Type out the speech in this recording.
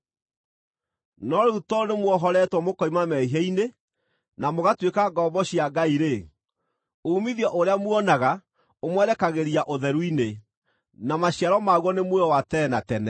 No rĩu tondũ nĩmwohoretwo mũkoima mehia-inĩ na mũgatuĩka ngombo cia Ngai-rĩ, uumithio ũrĩa muonaga ũmwerekagĩria ũtheru-inĩ, na maciaro maguo nĩ muoyo wa tene na tene.